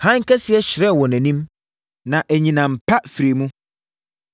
Hann kɛseɛ hyerɛn wɔ nʼanim, na anyinam pa firi mu.